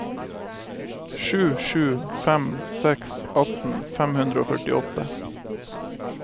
sju sju fem seks atten fem hundre og førtiåtte